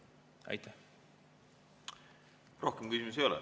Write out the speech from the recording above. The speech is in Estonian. Rohkem küsimusi ei ole.